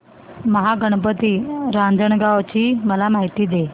महागणपती रांजणगाव ची मला माहिती दे